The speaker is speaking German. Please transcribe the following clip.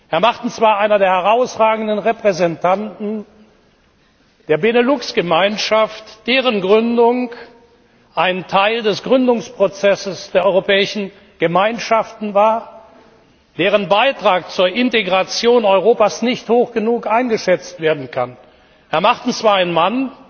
Herr Martens war einer der herausragenden Repräsentanten der Benelux Gemeinschaft, deren Gründung ein Teil des Gründungsprozesses der Europäischen Gemeinschaften war und deren Beitrag zur Integration Europas nicht hoch genug eingeschätzt werden kann. Herr Martens war ein Mann,